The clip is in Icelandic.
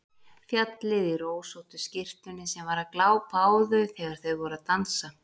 Fjallið í rósóttu skyrtunni sem var að glápa á þau þegar þau voru að dansa!